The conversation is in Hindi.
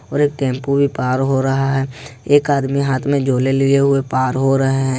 और एक टेंपो भी पार हो रहा है एक आदमी हाथ में झोले लिए हुए पार हो रहे हैं।